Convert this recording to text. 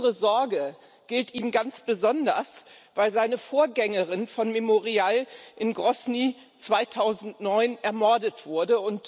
Unsere Sorge gilt ihm ganz besonders, weil seine Vorgängerin von Memorial in Grosny 2009 ermordet wurde.